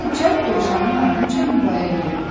Alisa cəld dovşanın ardınca yuvaya girdi.